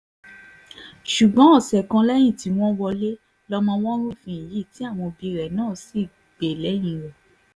ṣùgbọ́n ọ̀sẹ̀ kan lẹ́yìn tí wọ́n wọlé lọmọ wọn rúfin yìí tí àwọn òbí rẹ̀ náà sì gbé lẹ́yìn rẹ̀